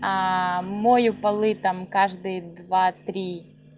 мою полы там каждые два три